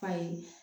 Ayi